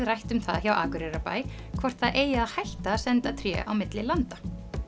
rætt um það hjá Akureyrarbæ hvort það eigi að hætta að senda tré á milli landa